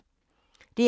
DR2